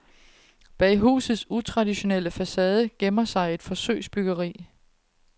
Bag husets utraditionelle facade gemmer sig et forsøgsbyggeri.